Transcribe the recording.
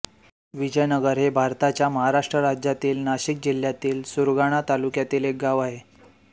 विजयनगर हे भारताच्या महाराष्ट्र राज्यातील नाशिक जिल्ह्यातील सुरगाणा तालुक्यातील एक गाव आहे